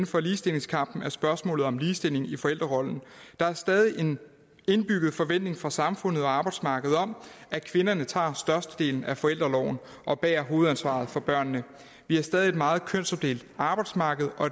for ligestillingskampen er spørgsmålet om ligestilling i forældrerollen der er stadig en indbygget forventning fra samfundet og arbejdsmarkedet om at kvinderne tager størstedelen af forældreorloven og bærer hovedansvaret for børnene vi har stadig et meget kønsopdelt arbejdsmarked og